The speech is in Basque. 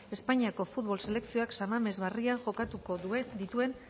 espainiako futbol selekzioak san mames barrian jokatuko dituen